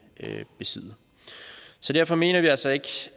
besidde så derfor mener vi altså ikke